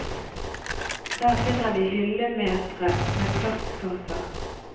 Der finner vi hyllemetre med plastkasser.